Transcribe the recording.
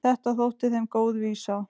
Þetta þótti þeim góð vísa.